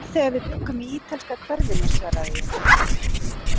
Það var þegar við bjuggum í ítalska hverfinu svaraði ég.